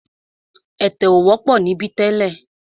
Ẹ̀tẹ̀ ò wọ́pọ̀ níbí tẹ́lẹ̀.